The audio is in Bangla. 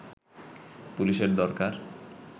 পুলিশের দরকার